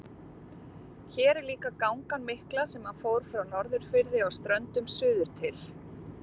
Hér er líka gangan mikla sem hann fór frá Norðurfirði á Ströndum suður til